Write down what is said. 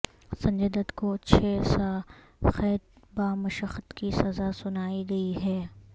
سنجے دت کو چھ سا قید بامشقت کی سزا سنائی گئی ہے